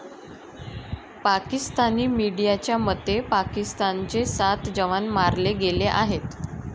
पाकिस्तानी मीडियाच्या मते, पाकिस्तानचे सात जवान मारले गेले आहेत.